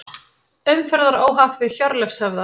Umferðaróhapp við Hjörleifshöfða